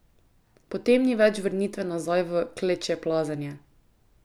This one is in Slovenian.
Potem ni več vrnitve nazaj v klečeplazenje.